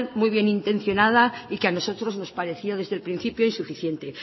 muy bien intencionada y que a nosotros nos pareció desde el principio insuficiente